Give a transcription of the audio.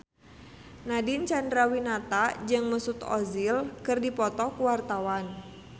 Nadine Chandrawinata jeung Mesut Ozil keur dipoto ku wartawan